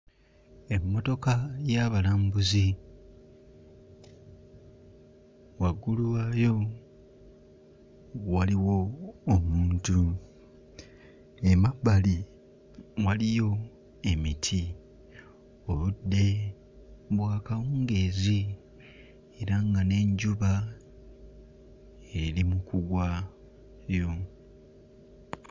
Emmotoka y'abalambuzi, waggulu waayo waliwo omuntu, emabbali waliyo emiti, obudde bwa kawungeezi era nga n'enjuba eri mu kugwayo.